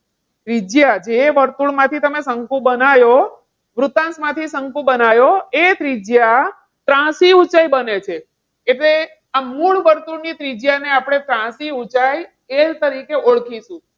ત્રિજ્યા જે વર્તુળ માંથી તમે શંકુ બનાવો, વૃતાંશ માંથી તમે શંકુ બનયો, એ ત્રિજ્યા ત્રાસી ઊંચાઈ બને છે, એટલે આ મૂળ વર્તુળ ની ત્રિજ્યાને આપણે ત્રાંસી ઊંચાઈ L તરીકે ઓળખીશું.